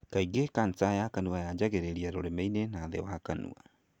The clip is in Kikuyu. Kaingĩ cancer ya Kanua yanjagĩrĩria rũrĩmĩinĩ na thĩ wa kanua.